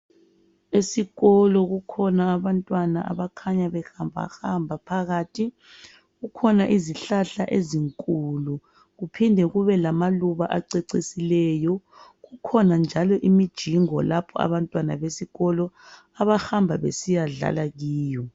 Esikolo kukhona abantwana abakhanya behamba hamba phakathi kukhona izihlahla ezinkulu kuphinde kube lamaluba acecisileyo kukhona njalo imijingo lapho abantwana besikolo abahamba besiyadlala kiyo.